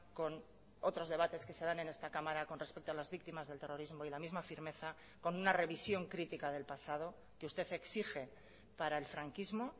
con otros debates que se dan en esta cámara con respecto a las víctimas del terrorismo y la misma firmeza con una revisión crítica del pasado que usted exige para el franquismo